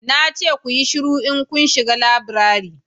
na ce ku yi shiru in kun shiga laburare